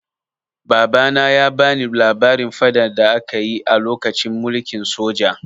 Babana ya bani labarin faɗan da aka yi a lokacin mulkin soja.